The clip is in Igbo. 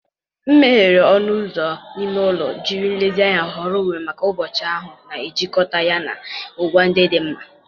M meghere ọnụ ụzọ ime ụlọ, jiri nlezianya họrọ uwe maka ụbọchị ahụ, na-ejikọta ya na ngwa ndị dị mma.